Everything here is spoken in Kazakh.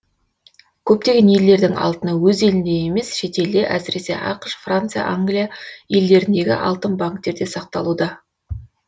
көптеген елдердің алтыны өз елінде емес шетелде әсіресе ақш франция англия елдеріндегі алтын банктерде сақталуда